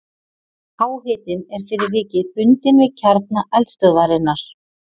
háhitinn er fyrir vikið bundinn við kjarna eldstöðvarinnar